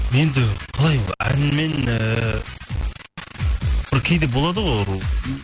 енді қалай ол әнмен ііі бір кейде болады ғой ол